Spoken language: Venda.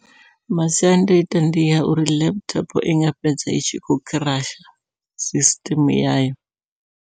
Masiandaitwa ndi a uri laptop inga fhedza itshi kho crush sisiṱeme yayo.